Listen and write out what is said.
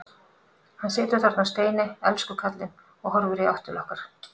Hann situr þarna á steini, elsku kallinn, og horfir í átt til okkar.